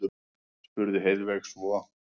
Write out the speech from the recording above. spurði Heiðveig svo.